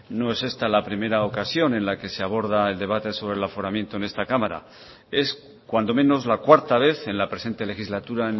no es esta la primera ocasión en la que se aborda el debate sobre el aforamiento en esta cámara es cuando menos la cuarta vez en la presente legislatura